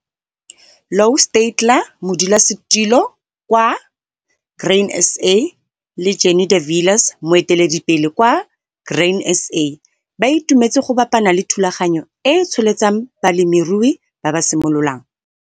Louw Steytler, Modulasetilo - Grain SA, le Jannie de Villiers, Moeteledipele - Grain SA, ba itumetse go bapana le thulaganyo e e tsholetsang balemirui ba ba simololang.